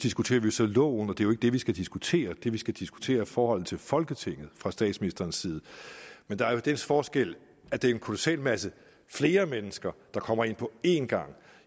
diskuterer vi så loven og det er jo ikke det vi skal diskutere det vi skal diskutere er forholdet til folketinget fra statsministerens side men der er jo den forskel at det er en kolossal masse flere mennesker der kommer ind på én gang